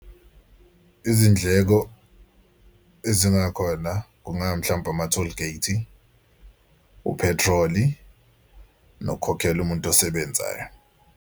Izindleko ezingakhona kunga mhlawumbe ama-tollgate, uphethroli, nokukhokhela umuntu osebenzayo.